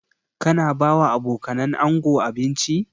Ka na ba wa abokanan ango abinci?